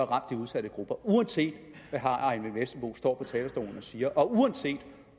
ramt de udsatte grupper uanset hvad herre eyvind vesselbo står på talerstolen og siger og uanset